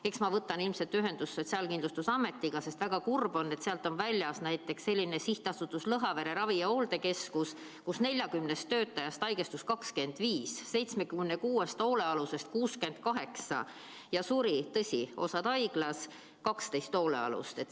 Eks ma võtan ilmselt ühendust Sotsiaalkindlustusametiga, sest väga kurb on, et sealt on välja jäänud näiteks Sihtasutus Lõhavere Ravi- ja Hooldekeskus, kus 40 töötajast haigestus 25, 76 hoolealusest 68 ja suri, tõsi, osa haiglas, 12 hoolealust.